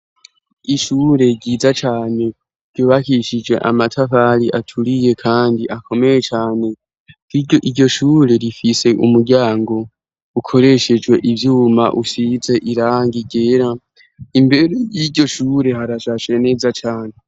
Ishure ryiza cane ryubakishije amatavali aturiye, kandi akomeye cane k iryo iryo shure rifise umuryango ukoreshejwe ivyuma ushize iranga gera imbere y'iryo shure harashashe neza cane.